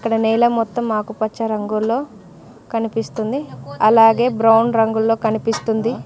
ఇక్కడ నేల మొత్తం ఆకుపచ్చ రంగులో కనిపిస్తుంది అలాగే బ్రౌన్ రంగుల్లో కనిపిస్తుంది.